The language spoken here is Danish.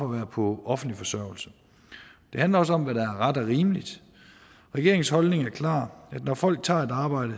være på offentlig forsørgelse det handler også om hvad der er ret og rimeligt regeringens holdning er klar når folk tager et arbejde